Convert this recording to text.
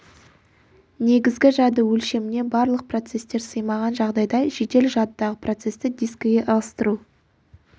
негізгі жады өлшеміне барлық процестер сыймаған жағдайда жедел жадыдағы процесті дискіге ығыстыру